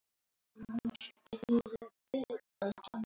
Ég þríf til þess og